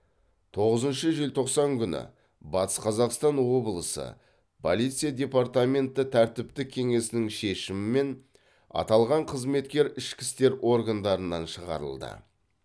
тоғызыншы желтоқсан күні батыс қазақстан олысы полиция департаменті тәртіптік кеңесінің шешімімен аталған қызметкер ішкі істер органдарынан шығарылды